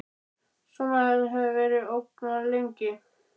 Svona hafði þetta verið svo ógnarlengi.